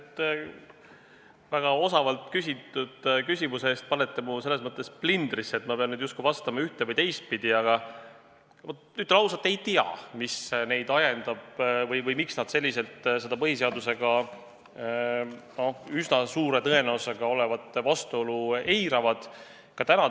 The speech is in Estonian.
Te panete mu väga osavalt küsitud küsimusega selles mõttes plindrisse, et ma pean nüüd justkui vastama ühte- või teistpidi, aga ütlen ausalt, et ma ei tea, mis neid ajendab või miks nad seda üsna suure tõenäosusega olevat vastuolu põhiseadusega eiravad.